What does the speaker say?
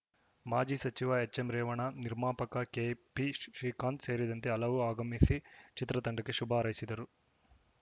ಮಾಜಿ ಸಚಿವ H M Revanna ನಿರ್ಮಾಪಕ ಕೆ ಪಿ ಶ್ರೀಕಾಂತ್‌ ಸೇರಿದಂತೆ ಹಲವು ಆಗಮಿಸಿ ಚಿತ್ರತಂಡಕ್ಕೆ ಶುಭ ಹಾರೈಸಿದರು